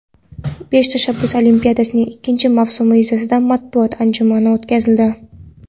"Besh tashabbus olimpiadasi" ning ikkinchi mavsumi yuzasidan matbuot anjumani o‘tkazildi.